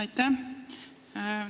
Aitäh!